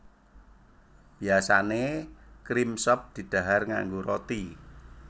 Biyasané cream soup didhahar nganggo roti